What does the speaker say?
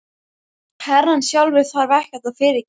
Herrann sjálfur þarf ekkert að fyrirgefa.